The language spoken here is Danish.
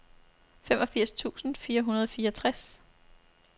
femogfirs tusind fire hundrede og fireogtres